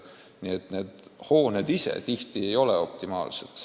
Paljud hooned ei ole optimaalsed.